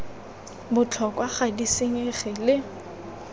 botlhokwa ga di senyege le